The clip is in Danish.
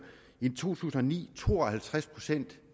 i to tusind og ni to og halvtreds procent